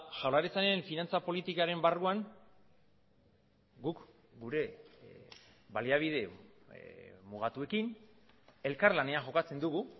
jaurlaritzaren finantza politikaren barruan guk gure baliabide mugatuekin elkarlanean jokatzen dugu